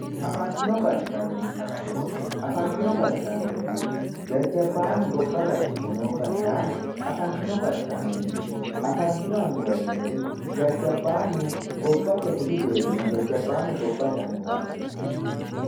afantino gashshaanonna annuwa afantino gashshano yineemmori jajjabbaannu gobba gashshitino gashshaano afantino gashshaano yineemmo afantino annuwa yineemmori jajjabaannu gobbate budu geerrinna jajjabannu gobbate annuwaati